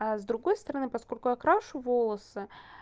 а с другой стороны поскольку я крашу волосы